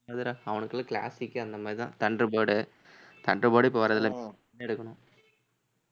எதுடா அவனுக்கெல்லாம் classic அந்த மாதிரிதான் thunder bird உ thunder bird ஏ இப்ப வர்றதில்லை எடுக்கணும்.